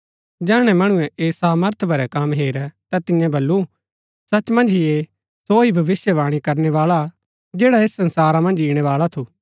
जैहणै मणुऐ ऐह सामर्थ भरै कम हेरै ता तियें बल्लू सच मन्ज ही ऐह सो ही भविष्‍यवाणी करणै बाळा हा जैडा ऐस संसारा मन्ज ईणैबाळा थू